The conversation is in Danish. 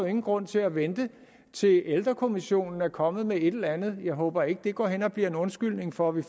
ingen grund til at vente til ældrekommissionen er kommet med et eller andet jeg håber ikke at det går hen og bliver en undskyldning for at vi